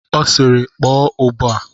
Ọ sịịrị, kpọọ ụbọ a!